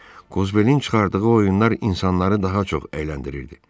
Qozbelin çıxardığı oyunlar insanları daha çox əyləndirirdi.